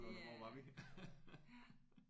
Det øh ja